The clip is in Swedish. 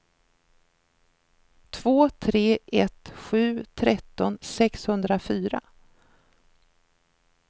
två tre ett sju tretton sexhundrafyra